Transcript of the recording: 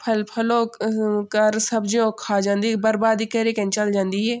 फल फलौ क कर सब्जियों क खा जंदी बरबादी केरिक के चल जांदी ये।